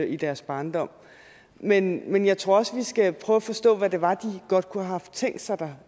i deres barndom men jeg tror også vi skal prøve at forstå hvad det var de godt kunne have tænkt sig